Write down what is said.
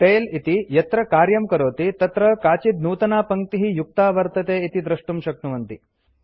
tail इति यत्र कार्यं करोति तत्र काचित् नूतना पङ्क्तिः युक्ता वर्तते इति द्रष्टुं शक्नुवन्ति